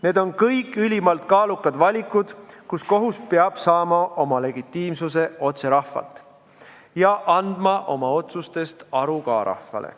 Need on kõik ülimalt kaalukad valikud, kus kohus peab saama oma legitiimsuse otse rahvalt ja andma ka oma otsustest aru rahvale.